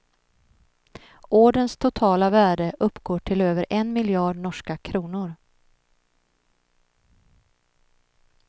Orderns totala värde uppgår till över en miljard norska kronor.